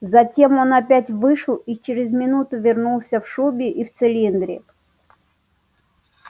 затем он опять вышел и через минуту вернулся в шубе и в цилиндре